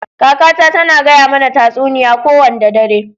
Kaka na ta na gaya mana tasuniya ko wanda dare.